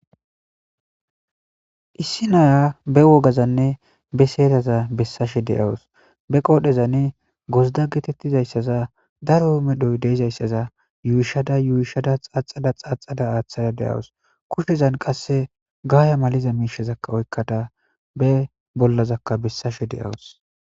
issi naya be wogazanne be seedaza bessashe de7awus be qoodhezanne gozda geetettizayssaza daro medhoy deezayssaza yuyishada yuuyishada xaaxada xaaxada aaththada de7awus kushezan qasse gaaya maliza miishezakka oykkada be bollazakka bessashe de7awus